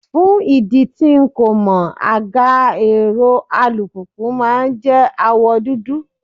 Fún ìdí tí n kò mọ̀, àga èrò alùpùpù máa jẹ́ àwọ̀ dúdú.